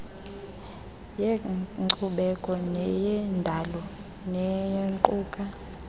yenkcubeko neyendalo nequka